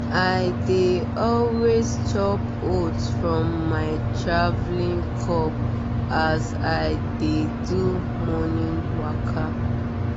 i dey always chop oat from my traveling cup as i dey do morning waka.